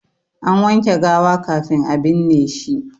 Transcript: An wanke gawa kafin a binne shi.